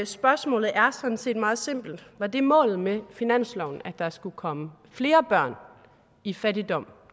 spørgsmålet er sådan set meget simpelt var det målet med finansloven at der skulle komme flere børn i fattigdom